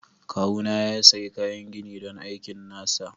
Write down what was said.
Kawuna ya sayi kayan gini don aikin nasa.